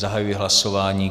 Zahajuji hlasování.